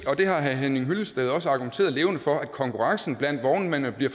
det har herre henning hyllested også argumenteret levende for konkurrencen blandt vognmændene bliver